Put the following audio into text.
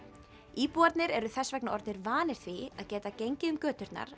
íbúarnir eru þess vegna orðnir vanir því að geta gengið um göturnar